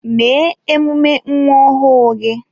Mee emume nwa ọhụụ gị